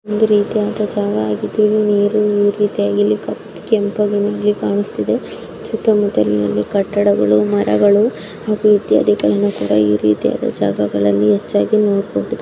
ಒಂದು ರೀತಿಯ ಜಾಗ ಇದು ಇಲ್ಲಿ ನೀರು ಕೆಂಪುಗಿನಲ್ಲಿ ಕಾಣಿಸ್ತಿದೆ ಸುತ್ತ ಮುತ್ತ ಕಟ್ಟಗಳು ಮರಗಳು ಹಾಗೂ ಇತ್ಯಾದಿಗಳನ್ನು ಈ ರೀತಿಯಾದ ಜಾಗಗಳಲ್ಲಿ ಹೆಚ್ಚಾಗಿ ನೋಡಬಹುದು.